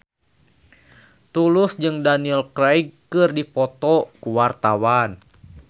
Tulus jeung Daniel Craig keur dipoto ku wartawan